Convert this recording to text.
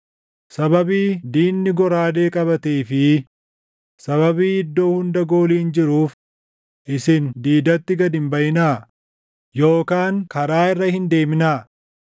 Sababii diinni goraadee qabatee fi sababii iddoo hunda gooliin jiruuf isin diidatti gad hin baʼinaa; yookaan karaa irra hin deemnaa.